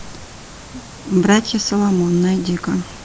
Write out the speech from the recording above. братья соломон найди ка